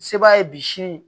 Se b'a ye bi sini